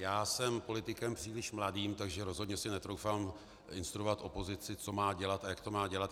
Já jsem politikem příliš mladým, takže rozhodně si netroufám instruovat opozici, co má dělat a jak to má dělat.